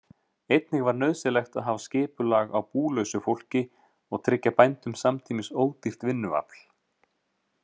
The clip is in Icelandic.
Einnig var nauðsynlegt að hafa skipulag á búlausu fólki og tryggja bændum samtímis ódýrt vinnuafl.